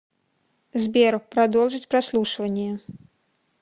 сбер продолжить прослушивание